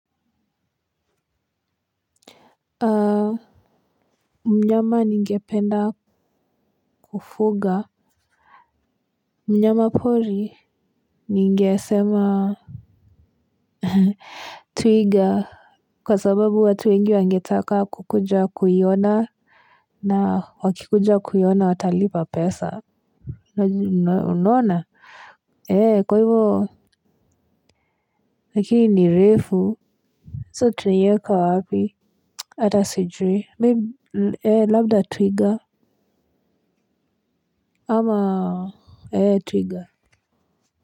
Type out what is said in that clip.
Aa mnyama ninge penda kufuga mnyama pori ningesema ehe twiga kwa sababu watu wengi wangetaka kukuja kuiona na wakikuja kuiona watalipa pesa unaona ee kwa hivo lakini ni refu so tunaieka wapi ata sijui meb ee labda twiga ama ee twiga.